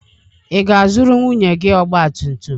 Ị ga-azụrụ nwunye gị ọgba tum tum?